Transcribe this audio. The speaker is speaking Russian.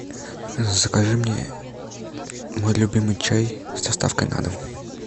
закажи мне мой любимый чай с доставкой на дом